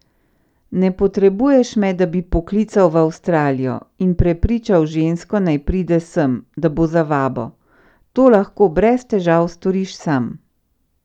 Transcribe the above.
Ne potrebuješ me, da bi poklical v Avstralijo in prepričal žensko, naj pride sem, da bo za vabo, to lahko brez težav storiš sam.